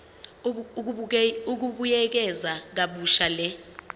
ukubuyekeza kabusha le